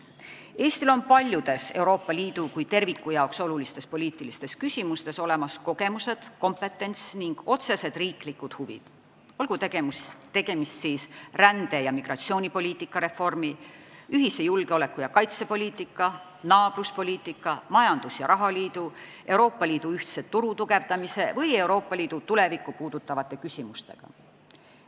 Eestil on paljudes Euroopa Liidu kui terviku jaoks olulistes poliitilistes küsimustes olemas kogemused, kompetents ning otsesed riiklikud huvid, olgu tegemist rände- ja migratsioonipoliitika reformi, ühise julgeoleku- ja kaitsepoliitika, naabruspoliitika, majandus- ja rahaliidu, Euroopa Liidu ühtse turu tugevdamise või Euroopa Liidu tulevikku puudutavate küsimustega.